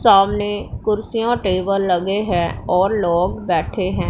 सामने कुर्सियां टेबल लगे हैं और लोग बैठे हैं।